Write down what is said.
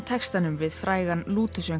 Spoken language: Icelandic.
textanum við frægan